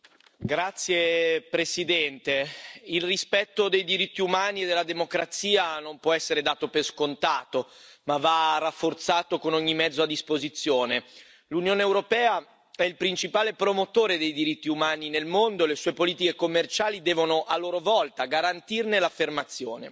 Signora Presidente, onorevoli colleghi, il rispetto dei diritti umani e della democrazia non può essere dato per scontato, ma va rafforzato con ogni mezzo a disposizione. L'Unione europea è il principale promotore dei diritti umani nel mondo e le sue politiche commerciali devono a loro volta garantirne l'affermazione.